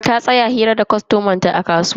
Ta tsaya hira da kwastoman ta a kasuwa.